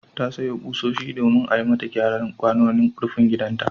Ta sayo ƙusoshi domin a yi mata gyaran kwanon rufin gidanta.